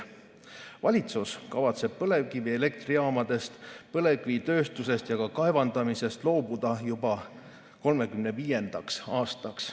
Valitsus kavatseb põlevkivielektrijaamadest, põlevkivitööstusest ja ka põlevkivi kaevandamisest loobuda juba 2035. aastaks.